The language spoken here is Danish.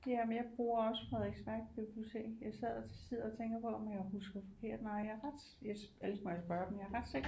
Jamen jeg bruger også Frederiksværk bibliotek jeg sad og sidder og tænker på om jeg husker forkert nej jeg er ret ellers må jeg spørge dem jeg er rets sikker på